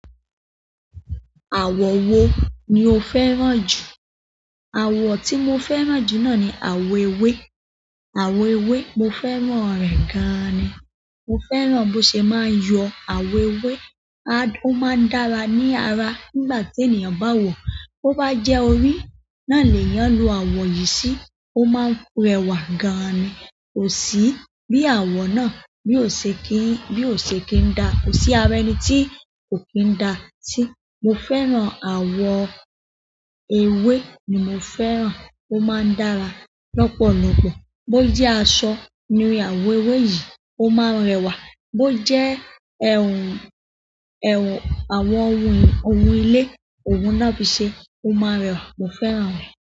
Àwọ̀ wo ni o fẹ́ràn jù? Àwọ̀ tí mo fẹ́ràn jù náà ni àwọ̀ ewé. Àwọ̀ ewé mo fẹ́ràn rẹ̀ gan ni. Mo fẹ́ràn bó ṣe máa ń yọ àwọ̀ ewé, a-- ó máa ń dára ní ara nígbà tí ènìyàn bá wọ̀. Bo bá jẹ́ orí, náà ni èèyàn lọ àwọ̀ yìí sí, ó máa ń rẹwà gan ni. Kò sí bí àwọ̀ náà, bí ò ṣe kí n, bí ò ṣe kí ń daa, kò sí ara ẹni tí kò kín ń daa sí. Mo fẹ́ràn àwọ̀ ewé ni mo fẹ́ràn, ó máa ń dára lọ́pọ̀lọ́pọ̀. Bó jẹ́ aṣọ ní àwọ̀ ewé yìí, ó máa ń rẹwà. Bó jẹ́, àwọn ohun, ohun ilé, ohun na fi ṣe, ó máa n rẹwà, mo fẹ́ràn rẹ̀.